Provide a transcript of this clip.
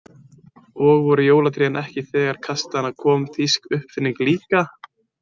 Og voru jólatrén ekki þegar til kastanna kom þýsk uppfinning líka?